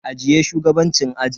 Ajiye shugabancin ajin.